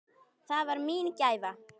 Það var mín gæfa.